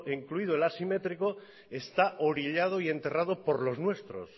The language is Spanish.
incluido el asimétrico está orillado y enterrado por los nuestro